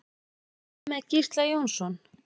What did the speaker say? Hvað með Gísla Jónsson?